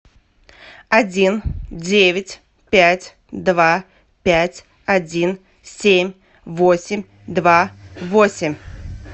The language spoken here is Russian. один девять пять два пять один семь восемь два восемь